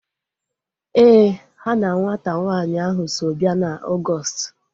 Éè, ha na nwata nwanyị ahu so bịa na Ọgọọst